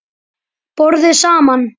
BORÐIÐ SAMAN